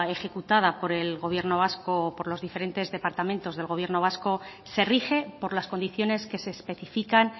ejecutada por el gobierno vasco por los diferentes departamentos del gobierno vasco se rige por las condiciones que se especifican